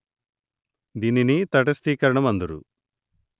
దీనిని తటస్థీకరణము అందురు